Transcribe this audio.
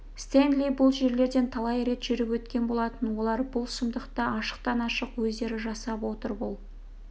стенли бұл жерлерден талай рет жүріп өткен болатын олар бұл сұмдықты ашықтан-ашық өздері жасап отыр бұл